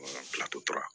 Bila totora